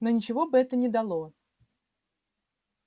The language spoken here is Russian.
но ничего бы это не дало